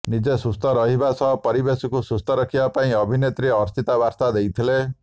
ନିଜେ ସୁସ୍ଥ ରହିବା ସହ ପରିବେଶକୁ ସୁସ୍ଥ ରଖିବା ପାଇଁ ଅଭିନେତ୍ରୀ ଅର୍ଚ୍ଚିତା ବାର୍ତ୍ତା ଦେଇଥିଲେ